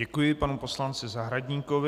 Děkuji panu poslanci Zahradníkovi.